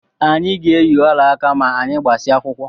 Anyị ga-eyi olaaka ma anyị gbasịa akwụkwọ